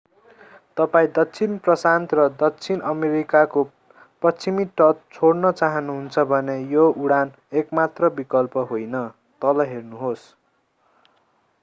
तपाईं दक्षिण प्रशान्त र दक्षिण अमेरिकाको पश्चिमी तट छोड्न चाहनुहुन्छ भने यो उडान एकमात्र विकल्प होइन। तल हेर्नुहोस्‌